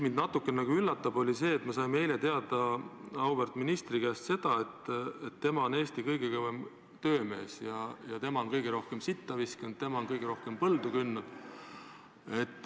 Mind natukene nagu üllatab see, et me saime eile teada auväärt ministri käest seda, et tema on Eesti kõige kõvem töömees, tema on kõige rohkem sitta visanud, tema on kõige rohkem põldu kündnud.